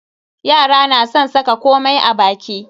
Yara na san saka komai a baki.